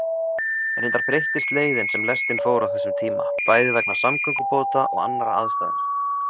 Reyndar breyttist leiðin sem lestin fór á þessum tíma, bæði vegna samgöngubóta og annarra aðstæðna.